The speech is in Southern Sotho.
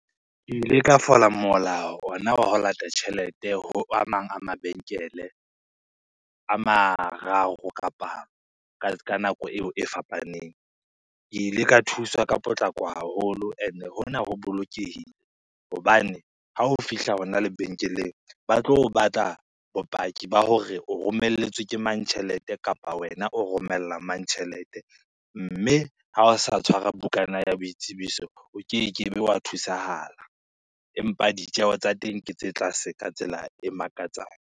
Ke ile ka fola mola ona wa ho lata tjhelete ho a mang a mabenkele, a mararo kapa ka ka nako eo e fapaneng. Ke ile ka thuswa ka potlako haholo ene hona ho bolokehile, hobane ha o fihla hona lebenkeleng ba tlo o batla bopaki ba hore o romelletswe ke mang tjhelete, kapa wena o romella mang tjhelete, mme ha o sa tshwara bukana ya boitsebiso o ke ke be wa thusahala, empa ditjeho tsa teng ke tse tlase ka tsela e makatsang.